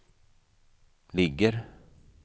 ligger